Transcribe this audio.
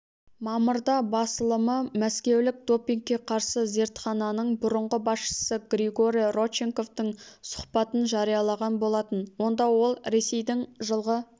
мамырда басылымымәскеулік допингке қарсы зертхананың бұрынғы басшысы григорий родченковтың сұхбатын жариялаған болатын онда ол ресейдің жылғы